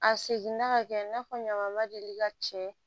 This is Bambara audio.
A seginna ka kɛ i n'a fɔ ɲamamɔgɔ ma deli ka cɛ